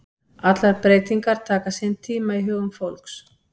Allar breytingar taka sinn tíma í hugum fólks.